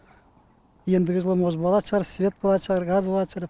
ендігі жылы может болат шығар свет болат шығар газ болат шығар